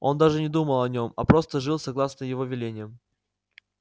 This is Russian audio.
он даже не думал о нем а просто жил согласно его велениям